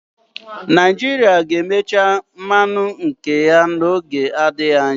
Naijirịa ga-emecha mmanụ nke ya n'oge adịghị anya.